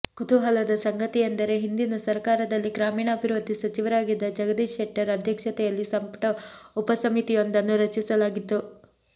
ಕುತೂಹಲದ ಸಂಗತಿಯೆಂದರೆ ಹಿಂದಿನ ಸರಕಾರದಲ್ಲಿ ಗ್ರಾಮೀಣಾಭಿವೃದ್ಧಿ ಸಚಿವರಾಗಿದ್ದ ಜಗದೀಶ್ ಶೆಟ್ಟರ್ ಅಧ್ಯಕ್ಷತೆಯಲ್ಲಿ ಸಂಪುಟ ಉಪಸಮಿತಿಯೊಂದನ್ನು ರಚಿಸಲಾಗಿತ್ತು